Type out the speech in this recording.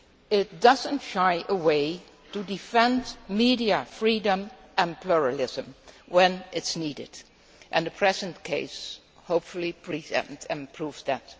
It does not shy away from defending media freedom and pluralism when it is needed, and the present case hopefully pre empts and proves that.